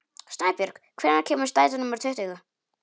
Snæbjörg, hvenær kemur strætó númer tuttugu?